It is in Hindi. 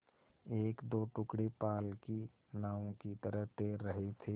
एकदो टुकड़े पाल की नावों की तरह तैर रहे थे